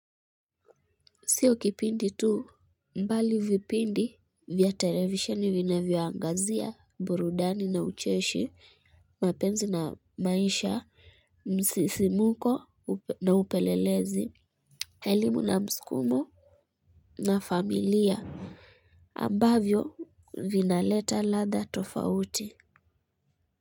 Sio kipindi tu bali vipindi vya televisheni vinavyo angazia burudani na ucheshi, mapenzi na maisha, msisimuko na upelelezi. Elimu na mskumo na familia ambavyo vinaleta ladha tofauti.